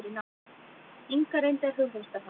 Inga reyndi að hughreysta hann.